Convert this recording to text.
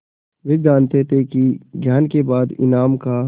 वे जानते थे कि ज्ञान के बाद ईमान का